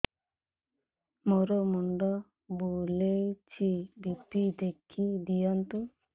ମୋର ମୁଣ୍ଡ ବୁଲେଛି ବି.ପି ଦେଖି ଦିଅନ୍ତୁ